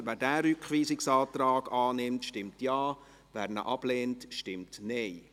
Wer diesen Rückweisungsantrag annimmt, stimmt Ja, wer diesen ablehnt, stimmt Nein.